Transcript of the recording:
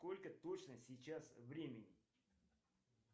сколько точно сейчас времени